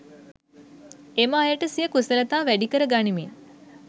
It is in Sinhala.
එම අයට සිය කුසලතා වැඩිකර ගනිමින්